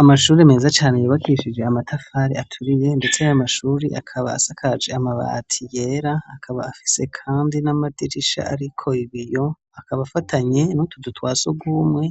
Amashure meza cane yubakishije amatafari aturiye ndetse ayo mashure akaba asakaje amabati yera akaba afise kandi n'amadirisha ariko ibiyo, akaba afatanye n'utuzu twa surwumwe